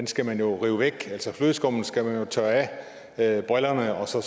skal man jo rive væk altså flødeskummet skal man tørre af brillerne og så